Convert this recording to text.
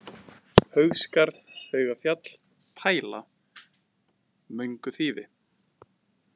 Haugsskarð, Haugafjall, Pæla, Mönguþýfi